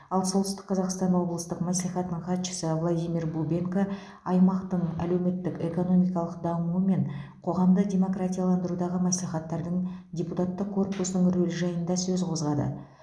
ал солтүстік қазақстан облыстық мәслихатының хатшысы владимир бубенко аймақтың әлеуметтік экономикалық дамуы мен қоғамды демократияландырудағы мәслихаттардың депутаттық корпусының рөлі жайында сөз қозғады